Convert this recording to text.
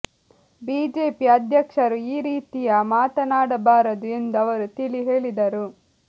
BJP ಅಧ್ಯಕ್ಷ ರು ಈ ರೀತಿಯ ಮಾತಾನಾಡಬಾರದು ಎಂದು ಅವರು ತಿಳಿಹೇಳಿದರು